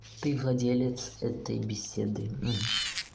ты владелец этой беседы